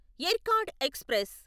Yercaud express